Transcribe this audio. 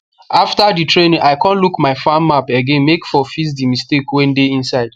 after the training i con look my farm map again make for fix the mistake wey dey inside